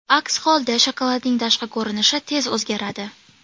Aks holda shokoladning tashqi ko‘rinishi tez o‘zgaradi.